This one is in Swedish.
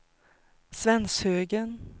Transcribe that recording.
Svenshögen